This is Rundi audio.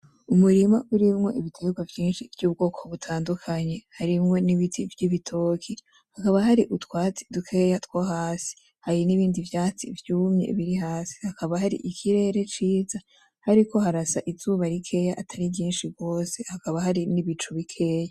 Umurima urimwo ibitegwa vyinshi vy'ubwoko butandukanye , harimwo n'ibiti vy'ibitoke hakaba hari utwatsi dukeya two hasi ,hari n'ibindi vyatsi vyumye biri hasi , hakaba hari ikirere ciza hariko harasa izuba rikeya atari ryinshi gose, hakaba hari n'ibicu bikeya.